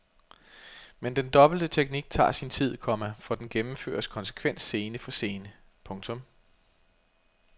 Men den dobbelte teknik tager sin tid, komma for den gennemføres konsekvent scene for scene. punktum